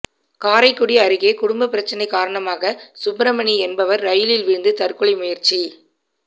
காரைக்குடி அருகே குடும்ப பிரச்சனை காரணமாக சுப்பிரமணி என்பவர் ரயிலில் விழுந்து தற்கொலை முயற்சி